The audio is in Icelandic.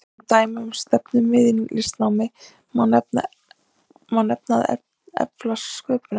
Sem dæmi um stefnumið í listnámi má nefna að efla sköpunargáfu.